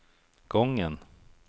gången